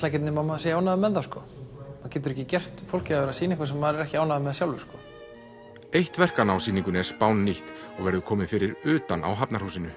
ekkert nema maður sé ánægður með það maður getur ekki gert fólki að vera að sýna eitthvað sem maður er ekki ánægður með sjálfur eitt verkanna á sýningunni er spánnýtt og verður komið fyrir utan á Hafnarhúsinu